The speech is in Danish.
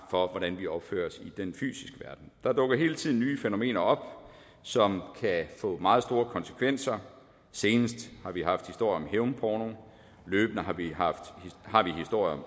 for hvordan vi opfører os i den fysiske verden der dukker hele tiden nye fænomener op som kan få meget store konsekvenser senest har vi haft historier om hævnporno løbende har vi har vi historier